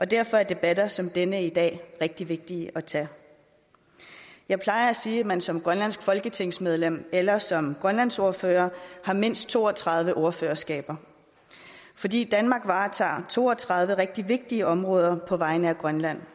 derfor er debatter som den i dag rigtig vigtige at tage jeg plejer at sige at man som grønlandsk folketingsmedlem eller som grønlandsordfører har mindst to og tredive ordførerskaber fordi danmark varetager to og tredive rigtig vigtige områder på vegne af grønland